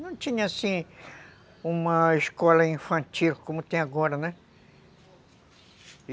Não tinha, assim, uma escola infantil como tem agora, né?